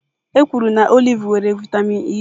Ekwuru na oliv nwere vaịtamịn E.